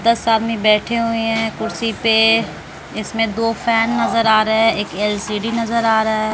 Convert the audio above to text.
दस आदमी बैठे हुए है कुर्सी पे इसमें दो फैन नजर आ रहे हैं। एक एल_सी_डी नजर आ रहा है।